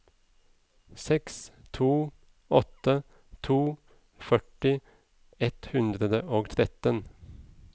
seks to åtte to førti ett hundre og tretten